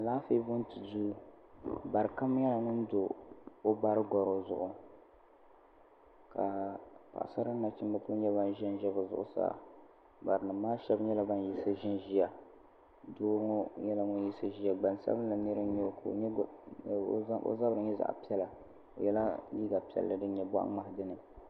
Alaafee bonti duu bari kam nyɛla ŋun do o bari goro zuɣu ka Paɣasara ni nachimba kuli nyɛ ban ʒɛnʒɛ bɛ zuɣusaa barinima maa sheba nyɛla ban yiɣisi ʒinʒia doo ŋɔ nyɛla ŋun yiɣisi ʒɛya gbansabili nira n nyɛ o ka o zabri nyɛ zaɣa piɛla o yela liiga piɛlli din nyɛ boɣa ŋmahi dini.